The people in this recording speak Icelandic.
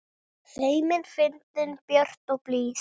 Feimin, fyndin, björt og blíð.